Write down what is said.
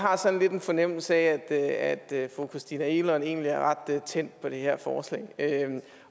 har sådan lidt en fornemmelse af at fru christina egelund egentlig er ret tændt på det her forslag